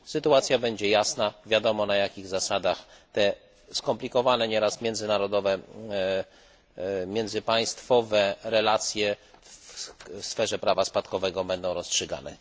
Sytuacja będzie jasna, wiadomo, na jakich zasadach te, skomplikowane nieraz, międzynarodowe, międzypaństwowe relacje w sferze prawa spadkowego będą rozstrzygane.